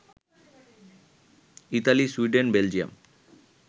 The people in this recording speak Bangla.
Italy, Sweden, Belgium